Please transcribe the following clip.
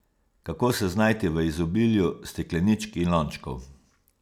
Kako se znajti v izobilju stekleničk in lončkov?